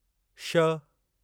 श